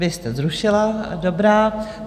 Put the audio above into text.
Vy jste zrušila, dobrá.